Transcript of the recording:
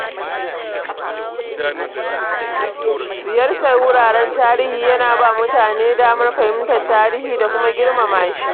Ziyartar wuraren tarihi yana ba mutane damar fahimtar tarihi da kuma girmamashi.